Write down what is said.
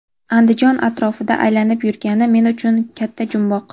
Andijon atrofida aylanib yurgani men uchun katta jumboq.